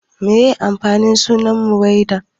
Me ma'anar sunan Maiwada?